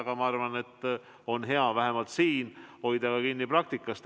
Samas ma arvan, et on hea vähemalt siin hoida kinni praktikast.